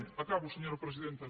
acabo senyora presidenta